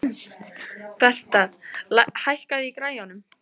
Bertha, hækkaðu í græjunum.